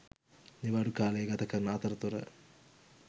නිවාඩු කාලේ ගතකරන අතරතුර